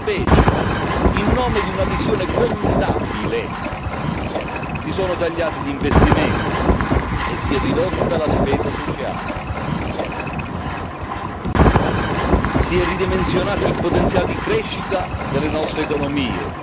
Invece, in nome di una visione contabile, si sono tagliati gli investimenti, si è ridotta la spesa sociale e si è ridimensionato il potenziale di crescita delle nostre economie.